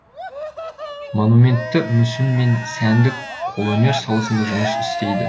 монументті мүсін мен сәндік қолөнер саласында жұмыс істейді